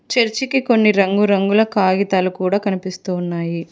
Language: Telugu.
చర్చికి కొన్ని రంగురంగుల కాగితాలు కూడా కనిపిస్తున్నాయి.